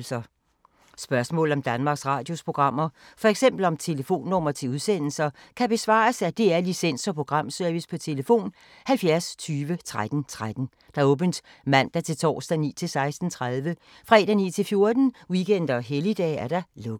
Spørgsmål om Danmarks Radios programmer, f.eks. om telefonnumre til udsendelser, kan besvares af DR Licens- og Programservice: tlf. 70 20 13 13, åbent mandag-torsdag 9.00-16.30, fredag 9.00-14.00, weekender og helligdage: lukket.